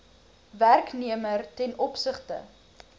werknemer ten opsigte